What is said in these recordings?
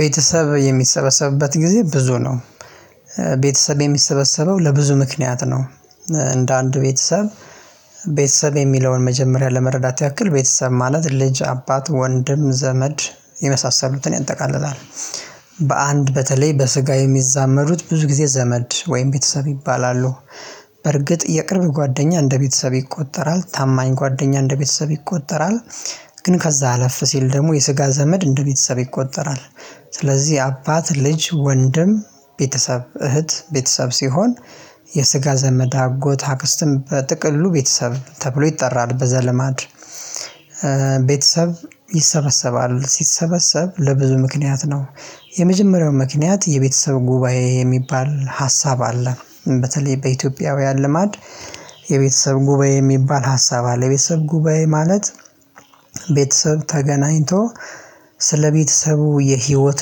ቤተሰብ የሚሰበሰብበት ጊዜ ብዙ ነው። ቤተሰብ የሚሰበሰበው ለብዙ ምክንያት ነው እንደ አንዱ ቤተሰብ ቤተሰብ የሚለውን መጀመሪያ ለመረዳት ያክል ቤተሰብ ማለት ልጅ አባት ወንድም ዘመድ የመሳሰሉትን ያጠቃልላል። በአንድ በተለይ በስጋ የሚዛመዱት ብዙ ጊዜ ዘመድ ወይም ቤተሰብ ይባላሉ። በርግጥ የቅርብ ጓደኛ እንደ ቤተሰብ ይቆጠራል ታማኝ ጓደኛ እንደ ቤተሰብ ይቆጠራል። ግን ከዛ አለፍ ሲል ደግሞ የስጋ ዘመድ እንደ ቤተሰብ ይቆጠራል። ስለዚህ አባት ልጅ ወንድም ቤተሰብ እህት ቤተሰብ ሲሆን የስጋ ዘመድ አጎት አክስትም በጥቅሉ ቤተሰብ ተብሎ ይጠራል በዘለማድ። ቤተሰብ ይሰበሰባል ሲሰበሰብ ለብዙ ምክንያት ነው። የመጀመሪያው ምክንያት የቤተሰብ ጉባኤ የሚባል ሀሳብ አለ። በተለይ በኢትዮጵያውያን ልማድ የቤተሰብ ጉባኤ የሚባል ሀሳብ አለ የቤተሰብ ጉባኤ ማለት። ቤተሰብ ተገናኝቶ ስለቤተሰቡ የህይወት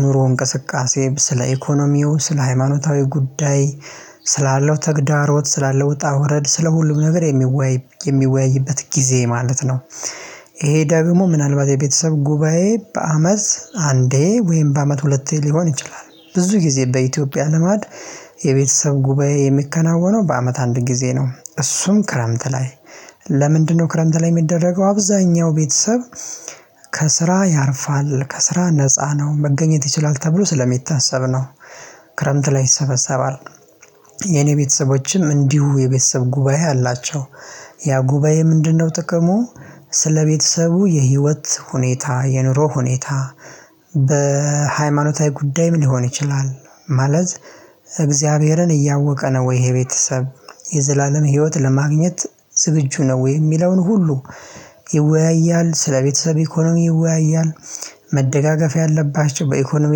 ኑሮ እንቅስቃሴ ስለ ኢኮኖሚው ስለ ሃይማኖታዊ ጉዳይ ስላለው ተግዳሮት ስላለው ውጣ ውረድ ስለ ሁሉም ነገር የሚወያይ የሚወያይበት ጊዜ ማለት ነው። ይሄ ደግሞ ምናልባት የቤተሰብ ጉባኤ በአመት አንዴ ወይም በአመት ሁለቴ ሊሆን ይችላል ብዙ ጊዜ በኢትዮጵያ ልማድ። የቤተሰብ ጉባኤ የሚከናወነው በአመት አንድ ጊዜ ነው እሱም ክረምት ላይ። ለምንድነው? ክረምት ላይ የሚደረገው አብዛኛው ቤተሰብ ከስራ ያርፋል ከስራ ነፃ ነው መገኘት ይችላል ተብሎ ስለሚታሰብ ነው። ክረምት ላይ ይሰበሰባል። የኔ ቤተሰቦችም እንዲሁ የቤተሰብ ጉባኤ አላቸው። ያ ጉባኤ ምንድነው ጥቅሙ? ስለ ቤተሰቡ የህይወት ሁኔታ የኑሮ ሁኔታ በሃይማኖታዊ ጉዳይም ሊሆን ይችላል ማለት እግዚአብሔርን እያወቀ ነው ወይ ይሄ ቤተሰብ የዘላለም ህይወት ለማግኘት ዝግጁ ነው ወይ የሚለውን ሁሉ ይወያያል ስለቤተሰብ ኢኮኖሚ ይወያያል መደጋገፍ ያለባቸው በኢኮኖሚ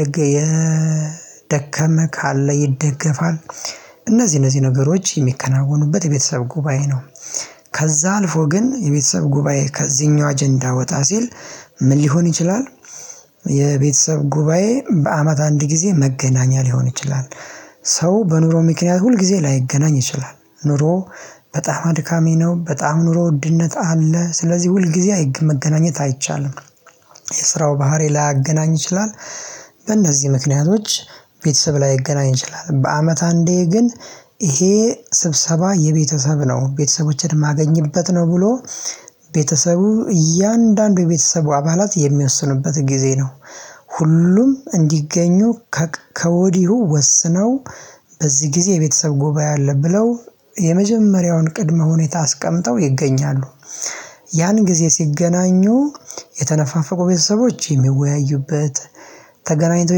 ደግሞ የደከመ ካለ ይደገፋል እነዚህ እነዚህ ነገሮች የሚከናወኑበት የቤተሰብ ጉባኤ ነው። ከዛ አልፎ ግን የቤተሰብ ጉባኤ ከዚህኛው አጀንዳ ወጣ ሲል ምን ሊሆን ይችላል? የቤተሰብ ጉባኤ በአመት አንድ ጊዜ መገናኛ ሊሆን ይችላል። ሰው በኑሮ ምክንያት ሁል ጊዜ ላይገናኝ ይችላል ኑሮ በጣም አድካሚ ነው በጣም ኑሮ ውድነት አለ ስለዚህ ሁል ጊዜ አይገኝም መገናኘት አይቻልም። የስራው ባህሪ ላያገናኝ ይችላል። በእነዚህ ምክንያቶች ቤተሰብ ላይገናኝ ይችላል በአመት አንዴ ግን ይሄ ስብሰባ የቤተሰብ ነው ቤተሰቦቼን የማገኝበት ነው ብሎ። ቤተሰቡ እያንዳንዱ የቤተሰቡ አባላት የሚያስኑበት ጊዜ ነው። ሁሉም እንዲገኙ ከወዲሁ ወስነው በዚህ ጊዜ የቤተሰብ ጉባኤ አለ ብለው የመጀመሪያውን ቅድመ ሁኔታ አስቀምጠው ይገኛሉ። ያን ጊዜ ሲገናኙ የተነፋፈቁ ቤተሰቦች የሚወያዩበት ተገናኝተው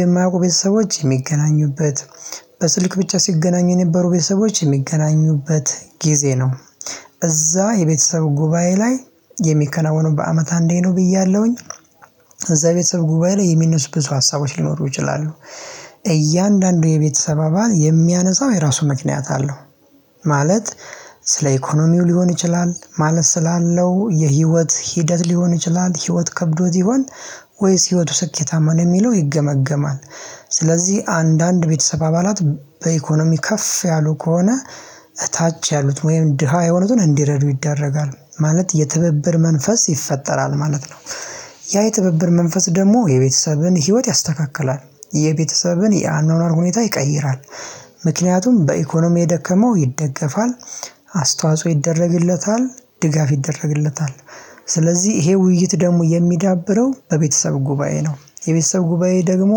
የማያውቁ ቤተሰቦች የሚገናኙበት በስልክ ብቻ ሲገናኙ የነበሩ ቤተሰቦች የሚገናኙበት ጊዜ ነው። እዛ የቤተሰብ ጉባኤ ላይ የሚከናወነው በአመት አንዴ ነው ብያለሁኝ። እዛ ቤተሰብ ጉባኤ ላይ የሚነሱ ብዙ ሀሳቦች ሊኖሩ ይችላሉ። እያንዳንዱ የቤተሰብ አባል የሚያነሳው የራሱ ምክንያት አለው። ማለት ስለ ኢኮኖሚው ሊሆን ይችላል ማለት ስላለው የህይወት ሂደት ሊሆን ይችላል ህይወት ከብዶት ይሆን ወይስ ህይወቱ ስኬታማ ነው የሚለው ይገመገማል። ስለዚህ አንዳንድ ቤተሰብ አባላት በኢኮኖሚ ከፍ ያሉ ከሆነ ታች ያሉት ወይም ድሃ የሆኑትን እንዲረዱ ይደረጋል ማለት የትብብር መንፈስ ይፈጠራል ማለት ነው። ያ የትብብር መንፈስ ደግሞ የቤተሰብን ህይወት ያስተካክላል የቤተሰብን የአኗኗር ሁኔታ ይቀይራል። ምክንያቱም በኢኮኖሚ የደከመው ይደገፋል አስተዋጽኦ ይደረግለታል ድጋፍ ይደረግለታል። ስለዚህ ይሄ ውይይት ደግሞ የሚዳብረው በቤተሰብ ጉባኤ ነው የቤተሰብ ጉባኤ ደግሞ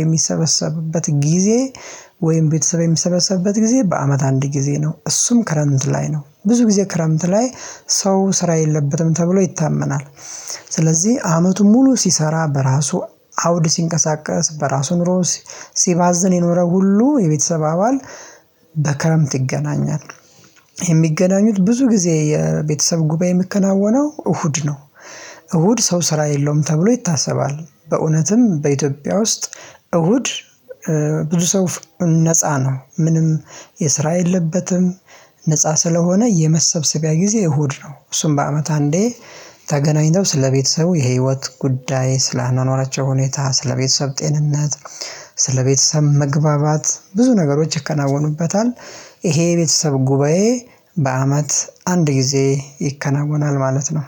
የሚሰበሰብበት ጊዜ። ወይም ቤተሰብ የሚሰበሰብበት ጊዜ በአመት አንድ ጊዜ ነው እሱም ክረምት ላይ ነው። ብዙ ጊዜ ክረምት ላይ ሰው ስራ የለበትም ተብሎ ይታመናል። ስለዚህ አመቱን ሙሉ ሲሰራ በራሱ አውድ ሲንቀሳቀስ በራሱ ኑሮ ሲባዝን የኖረው ሁሉ የቤተሰብ አባል በክረምት ይገናኛል። የሚገናኙት ብዙ ጊዜ የቤተሰብ ጉባኤ የሚከናወነው እሁድ ነው። እሁድ ሰው ስራ የለውም ተብሎ ይታሰባል በእውነትም በኢትዮጵያ ውስጥ እሁድ ብዙ ሰው ነፃ ነው ምንም የስራ የለበትም። ነፃ ስለሆነ የመሰብሰቢያ ጊዜ እሁድ ነው እሱም በአመት አንዴ። ተገናኝተው ስለቤተሰቡ የህይወት ጉዳይ ስለአኗኗራቸው ሁኔታ ስለቤተሰብ ጤንነት ስለቤተሰብ መግባባት ብዙ ነገሮች ይከናወኑበታል። ይሄ የቤተሰብ ጉባኤ በአመት አንድ ጊዜ ይከናወናል ማለት ነው።